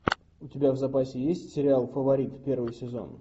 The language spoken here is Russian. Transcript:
у тебя в запасе есть сериал фаворит первый сезон